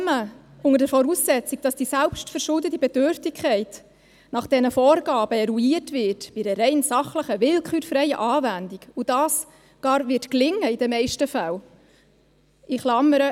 Auch wenn man unter der Voraussetzung, dass die selbstverschuldete Bedürftigkeit nach diesen Vorgaben eruiert wird, in der rein sachlichen, willkürfreien Anwendung, und dies in den meisten Fällen gar gelingen wird – in Klammern: